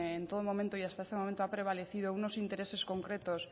en todo momento y hasta este momento ha prevalecido unos intereses concretos